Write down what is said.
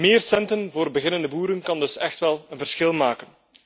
Meer centen voor beginnende boeren kan dus echt wel een verschil maken.